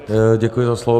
Děkuji za slovo.